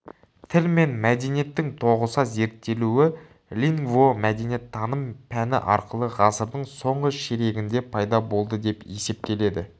тіл мен мәдениеттің тоғыса зерттелуі лингвомәдениеттаным пәні арқылы ғасырдың соңғы ширегінде пайда болды деп есептеледі